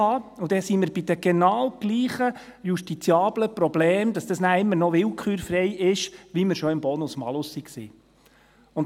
Dann sind wir bei den genau gleichen justiziablen Problemen, dass dies noch immer willkürfrei ist, wie wir es schon im Bonus-Malus waren.